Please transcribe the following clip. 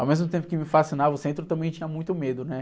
Ao mesmo tempo que me fascinava, o centro também tinha muito medo, né?